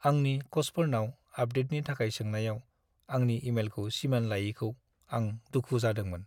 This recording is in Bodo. आंनि कचफोरनाव आपडेटनि थाखाय सोंनायाव आंनि इमेलखौ सिमान लायैखौ आं दुखु जोंदोंमोन।